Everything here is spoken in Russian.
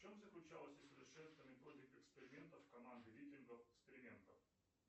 в чем заключалась